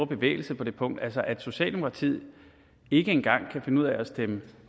bevægelse på det punkt altså at socialdemokratiet ikke engang kan finde ud af at stemme